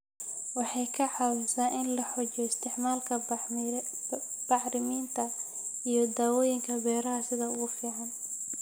Waxay ka caawisaa in la xoojiyo isticmaalka bacriminta iyo daawooyinka beeraha sida ugu fiican.